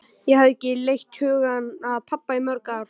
Ég hafði ekki leitt hugann að pabba í mörg ár.